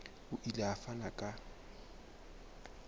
o ile a fana ka